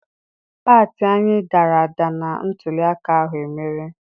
Pati anyị dara ada na ntụliaka ahụ emere.